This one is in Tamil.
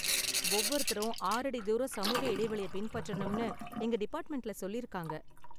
ஒவ்வொருத்தரும் ஆறடி தூரம் சமூக இடைவெளிய பின்பற்றனும்னு எங்க டிபார்ட்மெண்ட்ல சொல்லிருக்காங்க